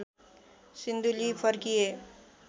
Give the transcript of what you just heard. सिन्धुली फर्किए